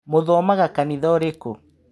Mũthomaga kanitha ũrĩkũ.